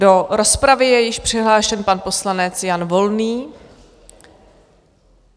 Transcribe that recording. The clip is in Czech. Do rozpravy je již přihlášen pan poslanec Jan Volný.